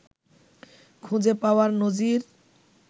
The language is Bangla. খুঁজে পাওয়ার নজির